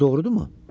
Bu doğrudurmu?